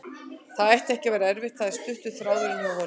Það ætti ekki að vera erfitt, það er stuttur þráðurinn hjá honum.